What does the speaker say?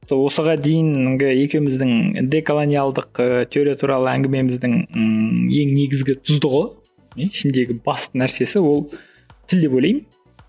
осыған дейінгі екеуміздің деколониялдық ы теория туралы әңгімеміңіздің ммм ең негізгі тұздығы ішіндегі басты нәрсесі ол тіл деп ойлаймын